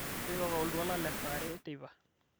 tipika oltuala le saa are teipa